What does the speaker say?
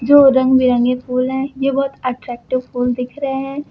जो रंग-बिरंगे फूल है ये बहोत अट्रैक्टिव फुल दिख रहे हैं।